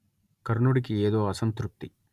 కర్ణుడికి ఏదో అసంతృప్తి